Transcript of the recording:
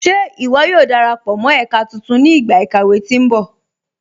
Ṣé iwó yóò darapọ mọ ẹ̀kà tuntun ni igba ikàwé tí nbọ̀?